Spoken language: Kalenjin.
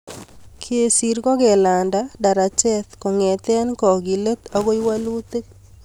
Kesir ko kelanda darachet kongete kakilet agoi walutik